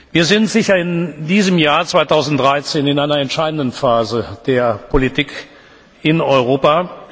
Wir sind in diesem Jahr, 2013, sicher in einer entscheidenden Phase der Politik in Europa.